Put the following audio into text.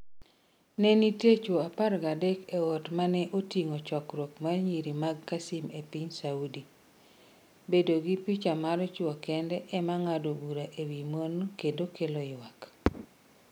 Ne nitie chwo apar gadek e ot ma ne oting’o chokruok mar nyiri mag Qassim e piny Saudi. bedo gi picha mar chwo kende ema ng’ado bura e wi mon kendo kelo ywak.